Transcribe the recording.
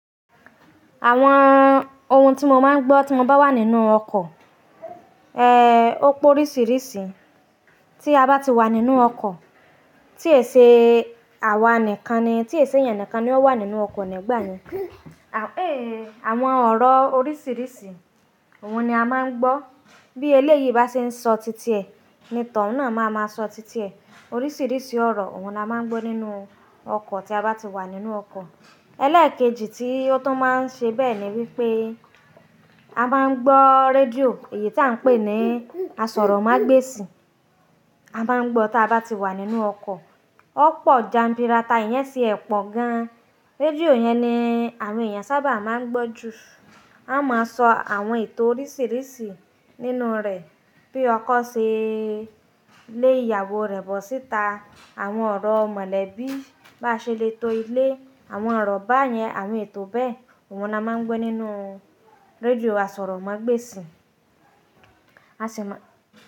Àwọn ohun tí mo máa ń gbọ́ tí mo bá wà nínú ọkọ̀, ẹ́, ó pé oríṣìíríṣìí. Tí a bá ti wà nínú ọkọ̀, tí èṣe àwa nìkan ni, tí èṣe èèyàn nìkan ni ó wà nínú ọkọ̀ nígbà yẹn. À-- éèyì, àwọn ọ̀rọ̀ oríṣìíríṣìí, òun ni a máa ń gbọ́. Bí eléyi bá ṣe ń sọ títí ẹ̀, ni t'ọ̀un náà máa ma sọ títí ẹ̀. Oríṣìíríṣìí ọ̀rọ̀, òun ni a máa ń gbọ́ nínú ọkọ̀ tí a bá ti wà nínú ọkọ̀. Eléèkejì tí ó tún máa ń ṣe bẹ́ẹ̀ ni wípé a máa ń gbọ́ rédíò, èyí tí à ń pè ní asọ̀rọ̀mágbèsì, a máa ń gbọ́ tí a bá ti wà nínú ọkọ̀. Ó pọ̀ jabirata, ìyẹn ṣe ẹ̀pọ̀ gan. Rédíò yẹn ni àwọn èèyàn sábà máa ń gbọ́ jù. A máa sọ àwọn ètò oríṣìíríṣìí nínú rẹ̀. Bí ọkọ̀ ṣe lé ìyàwó rẹ̀ bọ̀ síta, àwọn ọ̀rọ̀ mọ̀lẹ́bí, bá ṣe lè to ilé, àwọn ọ̀rọ̀ báyẹn, àwọn ètò bẹ́ẹ̀, òun ni a máa ń gbọ́ nínú rédíò asọ̀rọ̀mágbèsì. A sì máa.